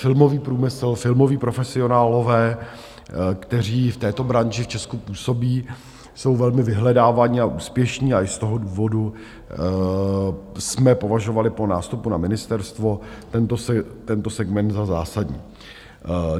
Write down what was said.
Filmový průmysl, filmoví profesionálové, kteří v této branži v Česku působí, jsou velmi vyhledávaní a úspěšní a i z toho důvodu jsme považovali po nástupu na ministerstvo tento segment za zásadní.